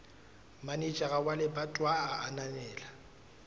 manejara wa lebatowa a ananela